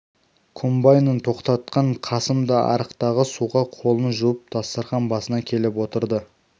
комбайнын тоқтатқан қасым да арықтағы суға қолын жуып дастарқан басына келіп отырды